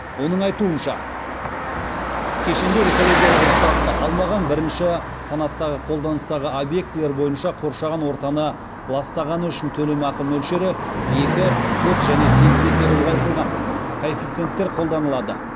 оның айтуынша кешенді экологиялық рұқсатты алмаған бірінші санаттағы қолданыстағы объектілер бойынша қоршаған ортаны ластағаны үшін төлемақы мөлшеріне екі төрт және сегіз есе ұлғайтылған коэффициенттер қолданылады